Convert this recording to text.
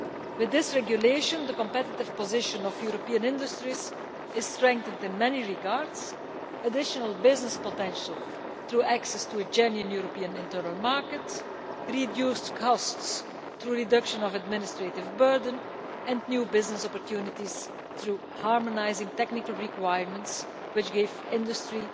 With this regulation the competitive position of European industries is strengthened in many regards additional business potential through access to a genuine European internal market, reduced costs through reduction of administrative burden and new business opportunities through harmonising technical requirements, which give industry